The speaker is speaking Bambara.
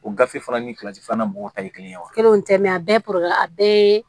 O gafe fana ni filanan mɔgɔ ta ye kelen ye wa kelen kelen tɛ mɛ a bɛɛ a bɛɛ ye